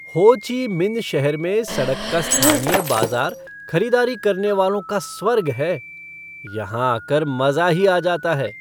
हो Chi Minh शहर में सड़क का स्थानीय बाजार खरीदारी करने वालों का स्वर्ग है। यहाँ आ कर मज़ा ही आ जाता है!